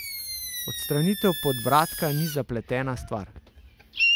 Odstranitev podbradka ni zapletena stvar.